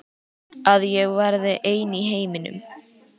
Að ég verði ein í heiminum.